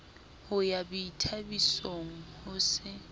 ho ya boithabisong ho se